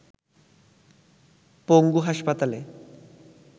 পঙ্গু হাসপাতালে